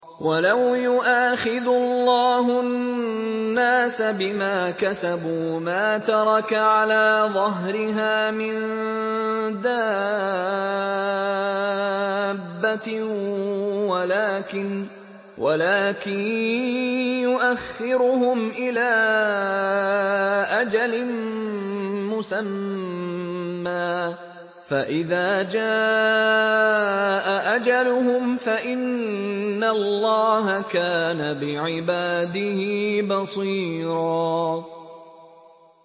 وَلَوْ يُؤَاخِذُ اللَّهُ النَّاسَ بِمَا كَسَبُوا مَا تَرَكَ عَلَىٰ ظَهْرِهَا مِن دَابَّةٍ وَلَٰكِن يُؤَخِّرُهُمْ إِلَىٰ أَجَلٍ مُّسَمًّى ۖ فَإِذَا جَاءَ أَجَلُهُمْ فَإِنَّ اللَّهَ كَانَ بِعِبَادِهِ بَصِيرًا